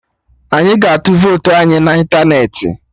Anyị ga-atu votu anyị na ịntanetị